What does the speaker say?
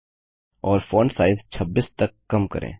और font size 26 तक कम करें